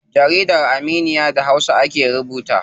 Jaridar Aminiya da hausa ake rubuta ta.